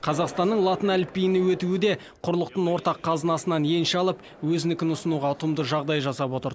қазақстанның латын әліпбиіне өтуі де құрлықтың ортақ қазынасынан енші алып өзінікін ұсынуға ұтымды жағдай жасап отыр